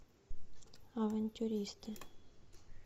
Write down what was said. авантюристы